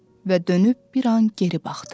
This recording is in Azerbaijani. Və dönüb bir an geri baxdı.